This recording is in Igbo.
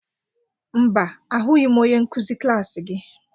Mba, ahụghị m onye nkuzi klas gị.